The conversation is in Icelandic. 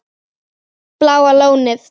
Bláa Lónið